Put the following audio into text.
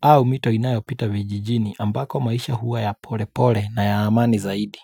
au mito inayo pita vijijini ambako maisha huwa ya pole pole na ya amani zaidi.